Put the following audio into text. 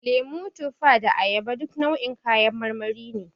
Lemo, tufa da ayaba duka nau'in kayan marmari ne.